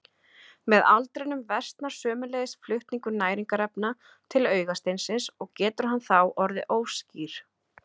Með aldrinum versnar sömuleiðis flutningur næringarefna til augasteinsins og getur hann þá orðið óskýr.